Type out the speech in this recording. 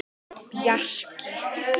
Bjarki